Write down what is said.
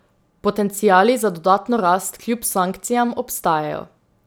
Potenciali za dodatno rast kljub sankcijam obstajajo.